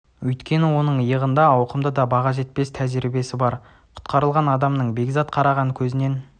өйткені оның иығында ауқымды да баға жетпес жұмыс тәжірибесі бар құтқарылған адамның бекзат қараған көзінен